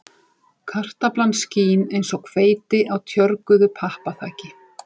Kartaflan skín eins og hveiti á tjörguðu pappaþaki